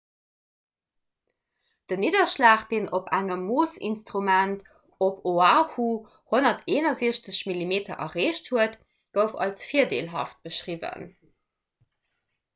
den nidderschlag deen op engem moossinstrument op oahu 161 mm erreecht huet gouf als virdeelhaft beschriwwen